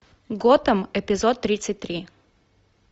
готэм эпизод тридцать три